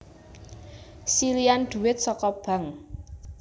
Silihan duit seko Bank